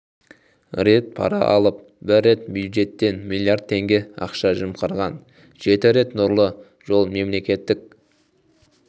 рет пара алып бір рет бюджеттен миллиард теңге ақша жымқырған жеті рет нұрлы жол мемлекеттік